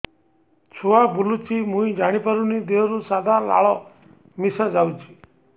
ଛୁଆ ବୁଲୁଚି ମୁଇ ଜାଣିପାରୁନି ଦେହରୁ ସାଧା ଲାଳ ମିଶା ଯାଉଚି